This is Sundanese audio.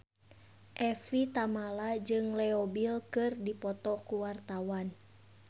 Evie Tamala jeung Leo Bill keur dipoto ku wartawan